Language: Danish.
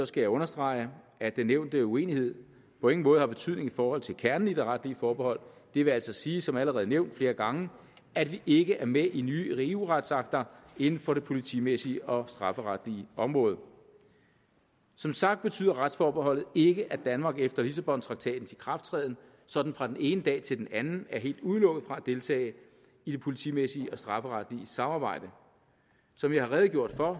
skal jeg understrege at den nævnte uenighed på ingen måde har betydning i forhold til kernen i det retlige forbehold det vil altså sige som allerede nævnt flere gange at vi ikke er med i nye eu retsakter inden for det politimæssige og strafferetlige område som sagt betyder retsforbeholdet ikke at danmark efter lissabontraktatens ikrafttræden sådan fra den ene dag til den anden er helt udelukket fra at deltage i det politimæssige og strafferetlige samarbejde som jeg har redegjort for